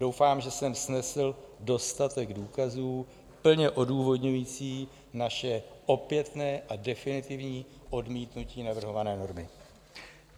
Doufám, že jsem snesl dostatek důkazů plně odůvodňující naše opětné a definitivní odmítnutí navrhované normy.